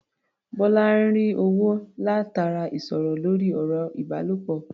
Bọ́lá ń rí owó látara ìsọ̀rọ̀ lórí ọ̀rọ̀-ìbálòpọ̀.